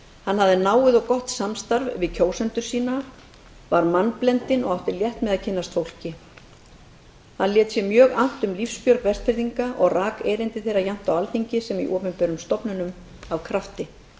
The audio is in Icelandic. hann hafði náið og gott samstarf við kjósendur sína var mannblendinn og átti létt með að kynnast fólki hann lét sér mjög annt um lífsbjörg vestfirðinga og rak erindi þeirra jafnt á alþingi sem í opinberum stofnunum af krafti